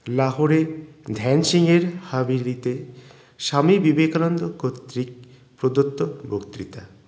লাহোরের ধ্যান সিংহের হাবেলীতে স্বামী বিবেকানন্দ কতৃক প্রদত্ত বক্তৃতা